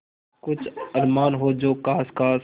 कुछ अरमान हो जो ख़ास ख़ास